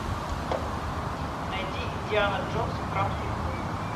найди индиана джонс и храм судьбы